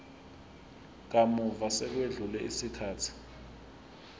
kamuva sekwedlule isikhathi